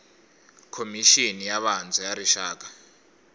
khomixini ya vantshwa ya rixaka